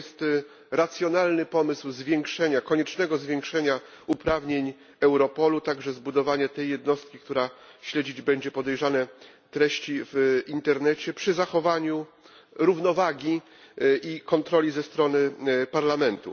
To jest racjonalny pomysł koniecznego zwiększenia uprawnień EUROPOLU, także zbudowanie tej jednostki, która śledzić będzie podejrzane treści w internecie przy zachowaniu równowagi i kontroli ze strony Parlamentu.